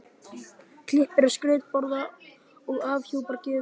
Klippir á skrautborða og afhjúpar gjöfina.